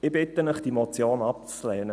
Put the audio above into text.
Ich bitte Sie, die Motion abzulehnen.